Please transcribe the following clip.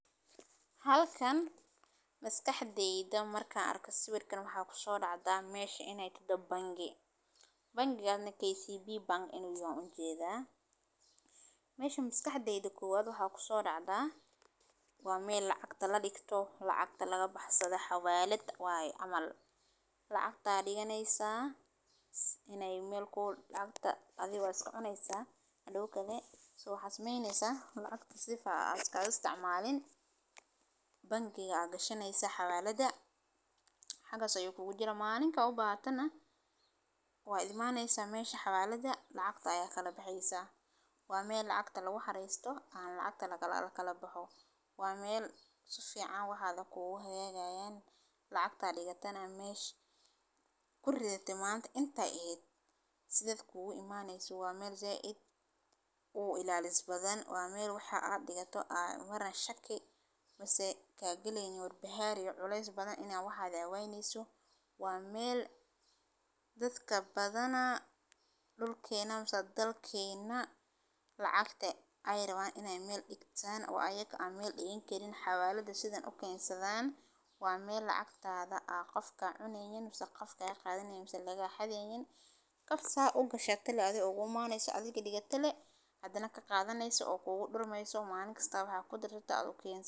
Halkan maskaxdayda marka an sawirkan waxaa kusodacda mesha mesha inay te bangi. Bangigan ne kcb bank inu yaha u jeeda. Mesha maskaxdayda koowad waxaa kusodacda waa mel lacagta ladigto lacagta laga baxsado xawaalad waye camal lacagta dhiganaysa inay mel ku dhanta adiga waa soconaysa teda kale waxaa sameynaysa lacagta sifa aad isaga isticmaalin bangiga gashanaysa xawaalada mesha ayay kugu jiri malinta u bahatana waa imanaysa mesha xawaalada lacagta aya kala baxaysa. Waa mel lacagta lagu xaraysto aan lacagta lagakala baqo. Waa mel si fican waxaada kugu haynayan lacagta dhigatana mesha kuridate intay ahayd save kugu imanaysa waa mel zaiid uu ilaalis badan waa mel waxaa aa dhigato aa ugu yaran shaki mise aa galaynin walbahar iyo cules badan inaa waxaaga waynayso. Waa mel dadka badana dhulkeena mise dalkena lacagta ay raban inay mel dhigtan oo ayaga aan mel dhigan karin xawaalada sidan u kensadan waa mel lacagtada aa qof ka cunaynin mise qof ka qadanaynin mise laga xadaynin hada sa u gashate le adiga ugu imanaysa adigi dhigate lee hadana ka qadanayso oo kugu dhurmayso malin kasta waxaa kudarsata aa u kensate.